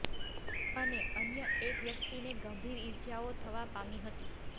અને અન્ય એક વ્યક્તિને ગંભીર ઇજાઓ થવા પામી હતી